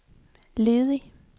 ledig